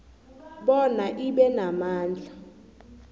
bona ibe namandla